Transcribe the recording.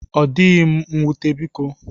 Odịghị m nwute biko.